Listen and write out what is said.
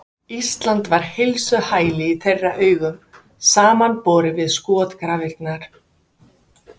Ísland var heilsuhæli í þeirra augum samanborið við skotgrafirnar.